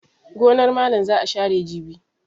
Gonar malam za a share jibi.